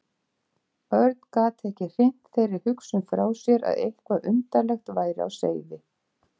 Örn gat ekki hrint þeirri hugsun frá sér að eitthvað undarlegt væri á seyði.